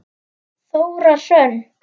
Þóra Hrönn.